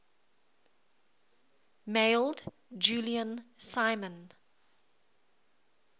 mailed julian simon